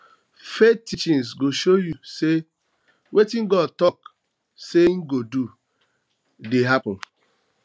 faith teachings go show yu say wetin god talk say im go do dey happened